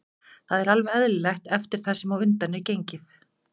Það er alveg eðlilegt eftir það sem á undan er gengið.